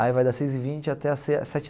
Aí vai das seis e vinte até as se as sete.